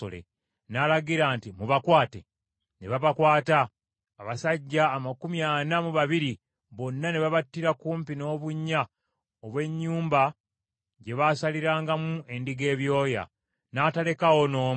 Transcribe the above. N’alagira nti, “Mubakwate.” Ne babakwata, abasajja amakumi ana mu babiri bonna ne babattira kumpi n’obunnya obw’ennyumba gye baasalirangamu endiga ebyoya. N’atalekaawo n’omu.